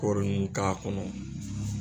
Kɔɔri in k'a kɔnɔ.